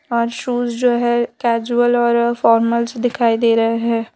और शूज़ जो हैं कैजुअल और फार्मल्स दिखाई दे रहे हैं।